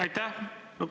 Aitäh!